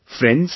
Friends,